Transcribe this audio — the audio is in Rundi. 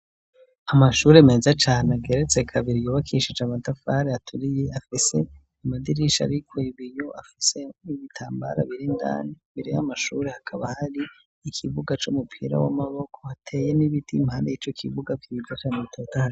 Amashuri meza cane ageretse kabiri, yubakishije amatafari aturiye afise amadirisha ariko ibiyo afise n'ibitambara birindani, imbere y'amashuri hakaba hari ikibuga c'umupira w'amaboko hateye n'ibiti impane y'ico kibuga gisa neza canee bitotahaye.